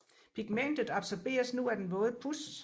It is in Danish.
Pigmentet absorberes nu af den våde puds